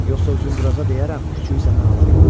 Yoxsa Uzunduraza deyərəm, küçüyü səndən alar.